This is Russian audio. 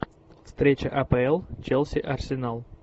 встреча апл челси арсенал